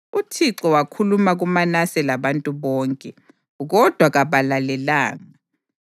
UThixo wakhuluma kuManase labantu bakhe, kodwa kabalalelanga.